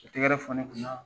Ka tɛgɛrɛ fɔ ne kun na.